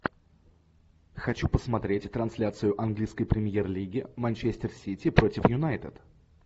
хочу посмотреть трансляцию английской премьер лиги манчестер сити против юнайтед